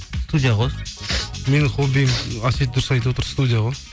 студия ғой менің хоббиім әсет дұрыс айтып отыр студия ғой